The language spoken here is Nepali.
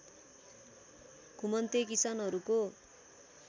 घुमन्ते किसानहरूको